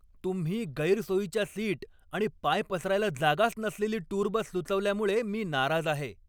तुम्ही गैरसोयीच्या सीट आणि पाय पसरायला जागाच नसलेली टूर बस सुचवल्यामुळे मी नाराज आहे.